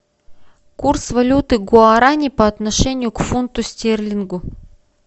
курс валюты гуарани по отношению к фунту стерлингу